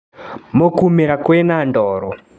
Mũkũrĩmĩra kwĩna ndoro.